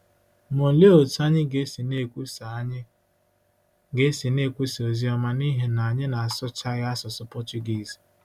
Ma olee otú anyị ga-esi na-ekwusa anyị ga-esi na-ekwusa ozi ọma n’ihi na anyị na-asụchaghị asụsụ Pọchugiiz?